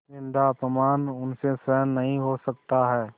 निन्दाअपमान उनसे सहन नहीं हो सकता है